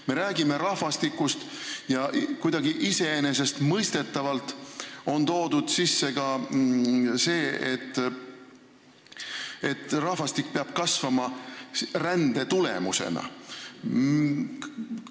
Me räägime rahvastikust ja kuidagi iseenesestmõistetavalt on toodud sisse ka see, et rahvastik peab kasvama rände tulemusena.